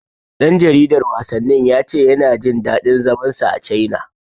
Ɗan jaridar wasannin ya ce yana jin daɗin zaman sa a Caina.